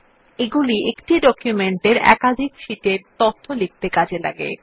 এগুলি একটি ডকুমেন্টের একাধিক শীটে তথ্য লিখতে কাজে লাগে